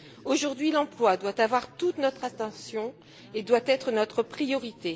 Aujourd'hui l'emploi doit avoir toute notre attention et doit être notre priorité.